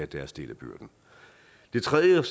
deres del af byrden det tredje jeg